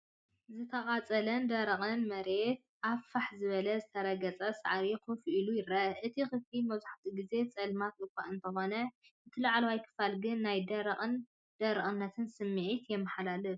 ዝተቓጸለን ደረቕን መሬት ኣብ ፋሕ ዝበለን ዝተረገጸን ሳዕሪ ኮፍ ኢሉ ይርአ። እቲ ክፍሊ መብዛሕትኡ ግዜ ጸልማት እኳ እንተዀነ፡ እቲ ላዕለዋይ ክፋል ግን ናይ ደረቕነትን ደረቕነትን ስምዒት የመሓላልፍ።